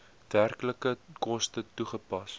werklike koste toegepas